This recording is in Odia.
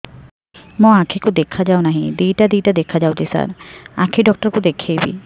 ମୋ ଆଖିକୁ ଦେଖା ଯାଉ ନାହିଁ ଦିଇଟା ଦିଇଟା ଦେଖା ଯାଉଛି ସାର୍ ଆଖି ଡକ୍ଟର କୁ ଦେଖାଇବି